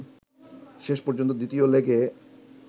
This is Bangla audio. শেষ পর্যন্ত দ্বিতীয় লেগে